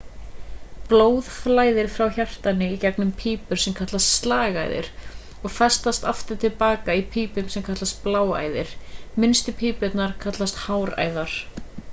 blóð flæðir frá hjartanu í gegnum pípur sem kallast slagæðar og flæðir aftur til hjartans í pípum sem kallast bláæðar minnstu pípurnar eru kallaðar háræðar